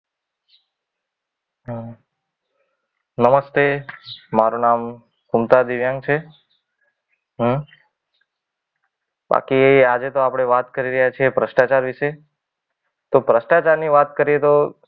અમ નમસ્તે મારું નામ કુંતા દિવ્યાંગ છે. હમ બાકી આજે તો આપણે વાત કરી રહ્યા છે ભ્રષ્ટાચાર વિશે. તો ભ્રષ્ટાચાર ની વાત કરીએ તો,